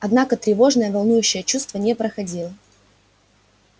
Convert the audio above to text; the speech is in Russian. однако тревожное волнующее чувство не проходило